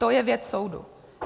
To je věc soudu.